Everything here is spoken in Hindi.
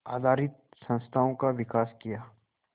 आधारित संस्थाओं का विकास किया